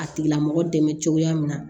A tigila mɔgɔ dɛmɛ cogoya min na